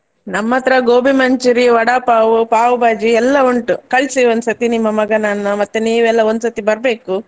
ನಮ್ಮತ್ರ gobi manchoori~, vada pav, pav bhaji ಎಲ್ಲ ಉಂಟು ಕಳ್ಸಿ ಒಂದ್ಸರ್ತಿ ನಿಮ್ಮ ಮಗನನ್ನು ಮತ್ತೆ ನೀವೆಲ್ಲ ಒಂದ್ಸರ್ತಿ ಬರ್ಬೇಕು.